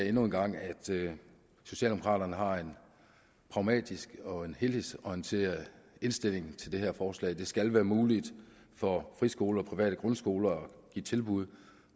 endnu en gang sige at socialdemokraterne har en pragmatisk og en helhedsorienteret indstilling til det her forslag det skal være muligt for friskoler og private grundskoler at give tilbud